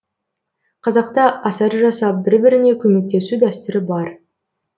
қазақта асар жасап бір біріне көмектесу дәстүрі бар